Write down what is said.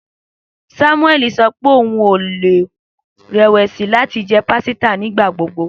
Samueli sọ pe oun ko le rẹwẹsi lati jẹ pasita nigbagbogbo